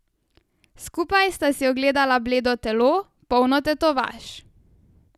Skupaj sta si ogledovala bledo telo, polno tetovaž.